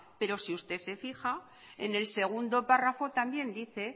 pero si usted se fija en el segundo párrafo también dice